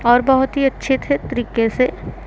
और बहुत ही अच्छे थे तरीके से--